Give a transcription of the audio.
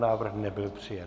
Návrh nebyl přijat.